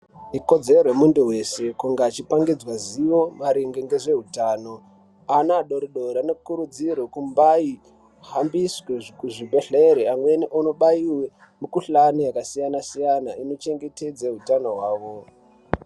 Ikodzero yemuntu wese kunge achipangidzwe ziyo maringe ngezveutano ana adori dori anokurudzirwe kumbayi hambiswe kusvi kuzvibhedhleri amweni onobaiwe mukhuhlani yakasiyana siyana inochengetedze utano hwavo.